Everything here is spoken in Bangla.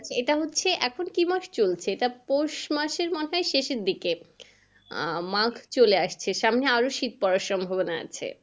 এটা হচ্ছে এখন কি মাস চলছে এটা পৌষ মাসের মাথায় শেষের দিকে আহ মাঘ চলে আসছে সামনে আরো শীত পড়ার সম্ভবনা আছে।